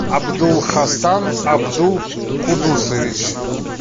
абдул хасан абдул кудусович